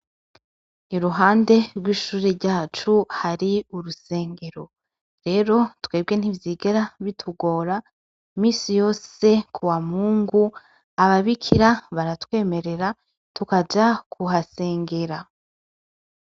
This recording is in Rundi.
Iruhande rw'ishure ryacu hari urusengero. Rero twebwe ntivyigera bitugora, imisi yose kuwa Mungu ababikira baratwemerera tukaja kuhasengera.